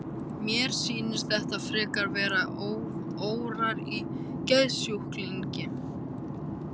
Mér sýnist þetta frekar vera órar í geðsjúklingi.